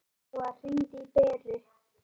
Lóa, hringdu í Beru.